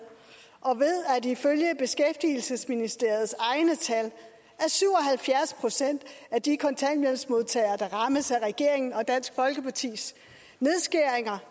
og ved at i følge beskæftigelsesministeriets egne tal er syv og halvfjerds procent af de kontanthjælpsmodtagere der rammes af regeringen og dansk folkepartis nedskæringer